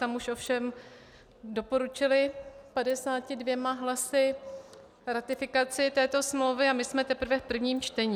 Tam už ovšem doporučili 52 hlasy ratifikaci této smlouvy a my jsme teprve v prvním čtení.